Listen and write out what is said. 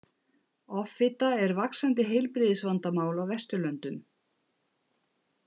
Offita er vaxandi heilbrigðisvandamál á Vesturlöndum.